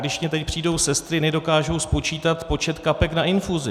Když mně teď přijdou sestry, nedokážou spočítat počet kapek na infuzi.